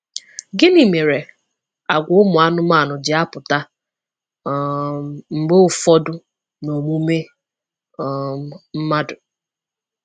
Gịnị mere àgwà ụmụ anụmanụ ji apụta um mgbe ụfọdụ n'omume um mmadụ?